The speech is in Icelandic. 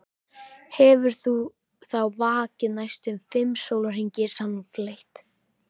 Hefur þá vakað næstum fimm sólarhringa samfleytt.